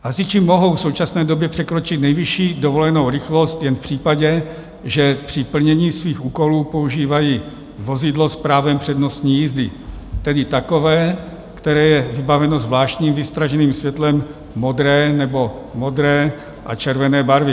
Hasiči mohou v současné době překročit nejvyšší dovolenou rychlost jen v případě, že při plnění svých úkolů používají vozidlo s právem přednostní jízdy, tedy takové, které je vybaveno zvláštním výstražným světlem modré nebo modré a červené barvy.